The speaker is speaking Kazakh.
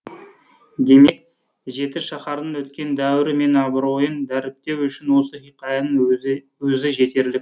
демек жетішаһардың өткен дәуірі мен абыройын дәріптеу үшін осы хикаяның өзі жетерлік